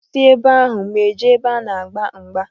M si ebe ahụ, m jee n'ebe a na-agba mgba.